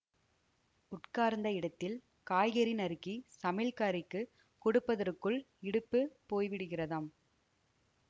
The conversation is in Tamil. உட்கார்ந்த இடத்தில் காய்கறி நறுக்கிச் சமையல்காரிக்குக் கொடுப்பதற்குள் இடுப்பு போய்விடுகிறதாம்